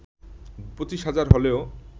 ২৫ হাজার হলেও